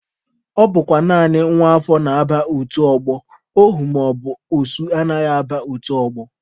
Ọ bụkwa naanị nwa afọ na-aba otu ọgbọ, ohu maọbụ osu anaghị aba otu ọgbọ.